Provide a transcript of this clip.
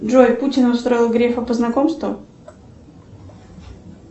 джой путин устроил грефа по знакомству